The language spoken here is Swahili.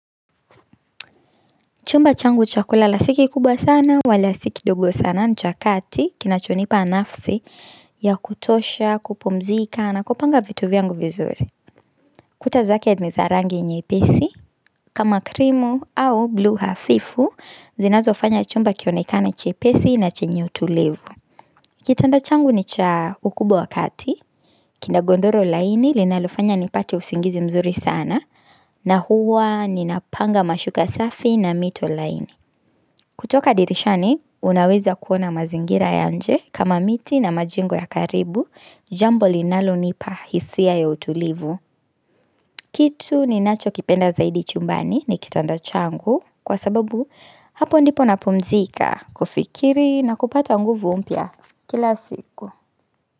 Chumba changu chakula la si kikubwa sana, wala sikidogo sana ni cha kati, kinachonipa nafsi ya kutosha, kupumzika na, kupanga vitu vyangu vizuri. Kuta zake ni za rangi nyepesi, kama krimu au buluu hafifu, zinazo fanya chumba kionekane chepesi na chenye utulivu. Kitanda changu ni cha ukubwa wakati, kinda godoro laini linalofanya nipate usingizi mzuri sana, na huwa ninapanga mashuka safi na mito laini. Kutoka dirishani, unaweza kuona mazingira ya nje kama miti na majengo ya karibu, jambo linalo nipa hisia ya utulivu. Kitu ni nacho kipenda zaidi chumbani ni kitanda changu kwa sababu hapo ndipo napumzika kufikiri na kupata nguvu mpya kila siku.